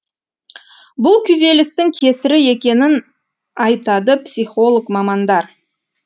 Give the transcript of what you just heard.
бұл күйзелістің кесірі екенін айтады психолог мамандар